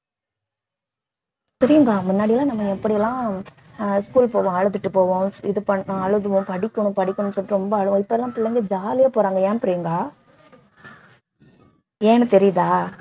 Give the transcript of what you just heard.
பிரியங்கா முன்னாடி எல்லாம் நம்ம எப்படி எல்லாம் ஆஹ் school போவோம் அழுதுட்டு போவோம் இது பண்ணோம் அழுவோம் படிக்கணும் படிக்கணும் சொல்லிட்டு ரொம்ப அழுவோம் இப்ப எல்லாம் பிள்ளைங்க ஜாலியா போறாங்க ஏன் பிரியங்கா ஏன்னு தெரியுதா